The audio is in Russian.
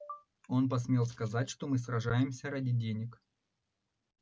он посмел сказать что мы сражаемся ради денег